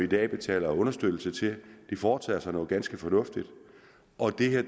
dag betaler understøttelse til foretager sig noget ganske fornuftigt og det